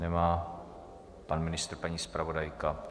Nemá pan ministr, paní zpravodajka.